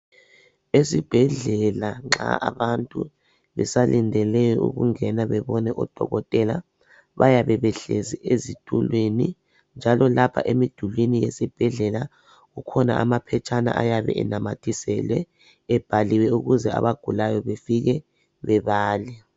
Ezibhedlela nxa abantu besalindele ukungena bebone udokotela bayabe behlezi ezitulweni njalo lapha emidulwini wesibhedlela kukhona anaphetshana ayabe enamathiswele ebhaliwe ukuze abagulayo befike bebale.